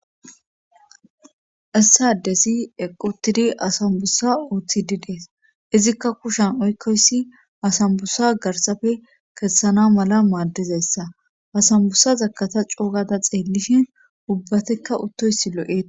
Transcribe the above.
lssa desi equtidi asambussa ooththi di dees izikka kushan oykkoyssi asambussa garsafe kessana mala maaddizessa asambusa zakata coogada xeellishin ubbatekka uttoysi lo7ea.